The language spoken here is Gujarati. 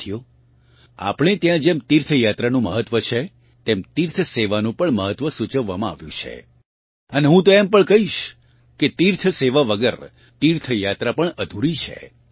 સાથીઓ આપણે ત્યાં જેમ તીર્થયાત્રાનું મહત્વ છે તેમ તીર્થ સેવાનું પણ મહત્વ સૂચવવામાં આવ્યું છે અને હું તો એમ પણ કહીશ કે તીર્થસેવા વગર તીર્થયાત્રા પણ અધૂરી છે